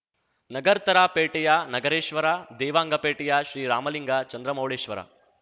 ನಗರ್ತರ ಪೇಟೆಯ ನಗರೇಶ್ವರ ದೇವಾಂಗ ಪೇಟೆಯ ಶ್ರೀ ರಾಮಲಿಂಗ ಚಂದ್ರಮೌಳೇಶ್ವರ